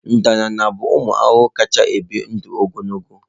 Ndanda bụ ụmụ ahụhụ kacha ebi ndụ ogologo.